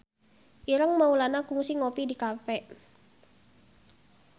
Ireng Maulana kungsi ngopi di cafe